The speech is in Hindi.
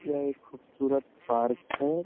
यह एक खूबसूरत पार्क है।